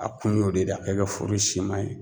A kun y'o de ka kɛ foro si man ɲi.